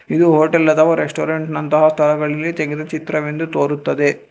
ಇದು ಹೋಟೆಲ್ ಅಥವಾ ರೆಸ್ಟೋರೆಂಟ್ ನಂತಹ ಸ್ಥಳಗಳಲ್ಲಿ ತೆಗೆದ ಚಿತ್ರವೆಂದು ತೋರುತ್ತದೆ.